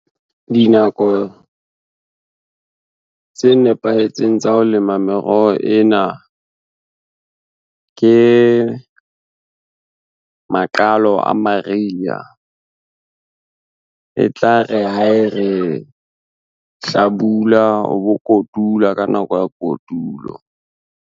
Dinako, tse nepahetseng tsa ho lema meroho ena. Ke maqalo a mariya, e tlare ha e re hlabula o bo kotula ka nako ya kotulo.